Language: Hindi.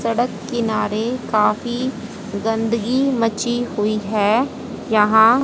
सड़क किनारे काफी गंदगी मची हुई है यहां--